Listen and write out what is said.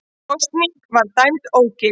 Kosningin var dæmd ógild